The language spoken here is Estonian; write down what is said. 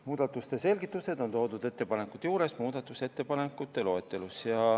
Muudatuste selgitused on toodud ettepanekute juures muudatusettepanekute loetelus.